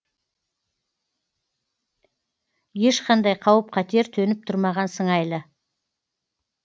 ешқандай қауіп қатер төніп тұрмаған сыңайлы